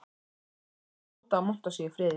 Örn leyfði Tóta að monta sig í friði.